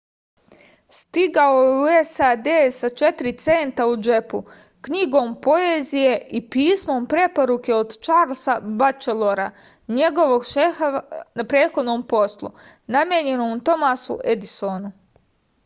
стигао је у сад са 4 цента у џепу књигом поезије и писмом препоруке од чарлса бачелора његовог шефа на претходном послу намењеном томасу едисону